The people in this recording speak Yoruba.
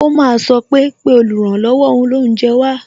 O máa sọ pé "pè oluranlowo olounje wá"